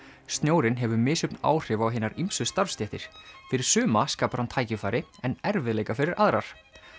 snjórinn hefur misjöfn áhrif á hinar ýmsu starfsstéttir fyrir sumar skapar hann tækifæri en erfiðleika fyrir aðrar